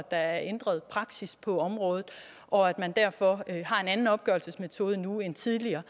er ændret praksis på området og at man derfor har en anden opgørelsesmetode nu end tidligere